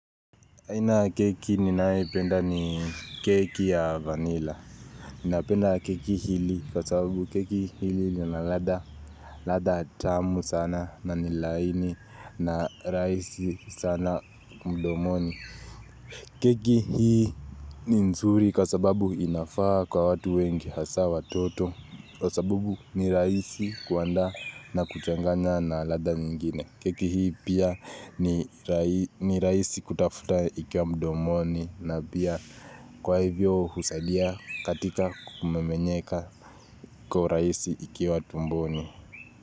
Aina ya keki ninayoipenda ni keki ya vanila Napenda keki hili kwa sababu keki hili lina ladha, ladha tamu sana na ni laini na rahisi sana mdomoni keki hii ni nzuri kwa sababu inafaa kwa watu wengi hasa watoto kwa sababu ni raisi kuandaa na kuchanganya na ladha nyingine. Keki hii pia ni ni rahisi kutafuta ikiwa mdomoni na pia kwa hivyo husadia katika kumemenyeka kwa urahisi ikiwa tumboni.